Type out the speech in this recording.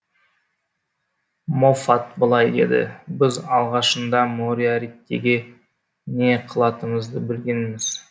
моффат былай деді біз алғашында мориаритиге не қылатынымызды білгенбіз